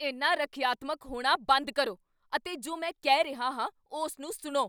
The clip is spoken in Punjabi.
ਇੰਨਾ ਰੱਖਿਆਤਮਕ ਹੋਣਾ ਬੰਦ ਕਰੋ ਅਤੇ ਜੋ ਮੈਂ ਕਹਿ ਰਿਹਾ ਹਾਂ ਉਸ ਨੂੰ ਸੁਣੋ।